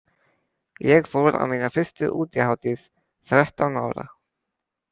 Ég fór á mína fyrstu útihátíð þrettán ára.